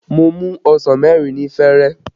Mo mu ọsàn mẹ́rin ni fẹ̀rẹ̀